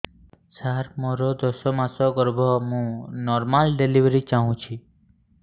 ସାର ମୋର ଦଶ ମାସ ଗର୍ଭ ମୁ ନର୍ମାଲ ଡେଲିଭରୀ ଚାହୁଁଛି